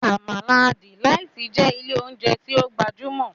Amala Delight' jẹ ilé oúnjẹ tí o gbajúmò